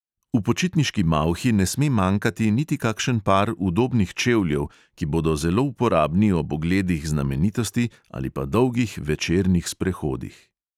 V počitniški malhi ne sme manjkati niti kakšen par udobnih čevljev, ki bodo zelo uporabni ob ogledih znamenitosti ali pa dolgih večernih sprehodih.